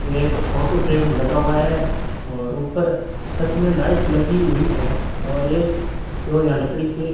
ये एक photo frame लगा हुआ है और ऊपर छत में लाइट लगी हुई है और ये तो यहां लकड़ी के --